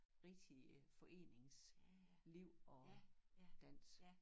Rigtige foreningsliv og dans